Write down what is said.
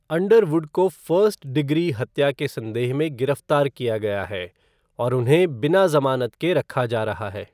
Underwood को first degree हत्या के संदेह में गिरफ्तार किया गया है और उन्हें बिना जमानत के रखा जा रहा है।